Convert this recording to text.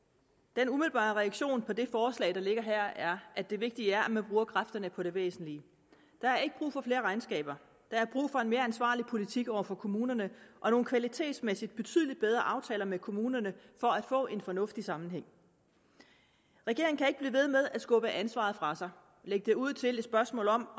den umiddelbare reaktion på det forslag der ligger her er at det vigtige er at man bruger kræfterne på det væsentlige der er ikke brug for flere regnskaber der er brug for en mere ansvarlig politik over for kommunerne og nogle kvalitetsmæssigt betydelig bedre aftaler med kommunerne for at få en fornuftig sammenhæng regeringen kan ikke blive ved med at skubbe ansvaret fra sig og lægge det ud til et spørgsmål om